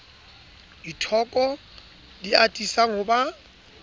dithoko di atisang ho ba